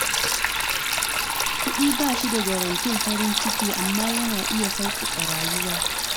Kuɗi ba shi da garantin farin ciki, amma yana iya sauƙaƙa rayuwa.